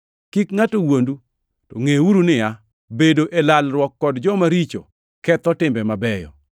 Kik ngʼato wuondu. Ngʼeuru niya, “Bedo e lalruok kod joma richo ketho timbe mabeyo.”